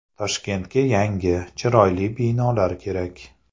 Toshkentga yangi, chiroyli binolar kerak.